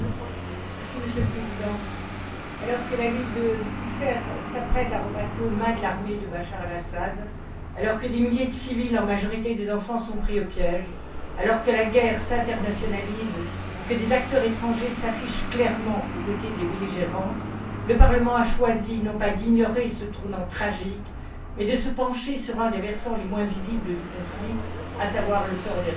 Monsieur le Président, alors que la ville de Qousseir s'apprête à repasser aux mains de l'armée de Bachar el Assad, alors que des milliers de civils, en majorité des enfants, sont pris au piège, alors que la guerre s'internationalise et que des acteurs étrangers s'affichent clairement aux côtés des belligérants, le Parlement a choisi non pas d'ignorer ce tournant tragique, mais de se pencher sur un des versants les moins visibles du conflit, à savoir le sort des réfugiés.